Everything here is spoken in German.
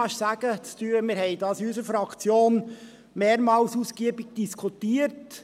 Wir haben dies in unserer Fraktion mehrmals ausgiebig diskutiert: